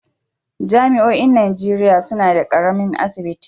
Jami'oin Najeriya suna da ƙaramin asibiti.